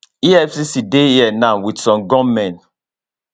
efcc dey here now wit some gunmen